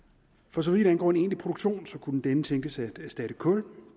for så vidt angår en egentlig produktion så kunne denne tænkes at erstatte kul